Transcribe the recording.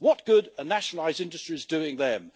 What good are nationalised industries doing them?